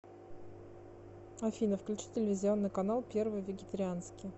афина включи телевизионный канал первый вегетарианский